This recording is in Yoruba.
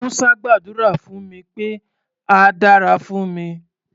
Musa gbàdúrà fún mi pé á dára fún mi.